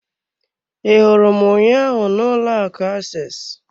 I hụrụ m ụnyaahụ na ụlọ akụ access.